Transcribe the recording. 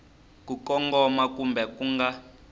ku kongoma kumbe ku nga